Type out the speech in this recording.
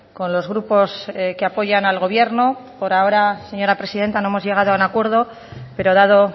con los grupos que apoyan al gobierno por ahora señora presidenta no hemos llegado a un acuerdo pero dado